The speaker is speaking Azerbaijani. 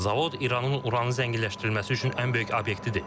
Zavod İranın uranı zənginləşdirilməsi üçün ən böyük obyektidir.